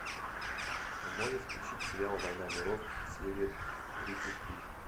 можешь включить сериал война миров серия тридцать три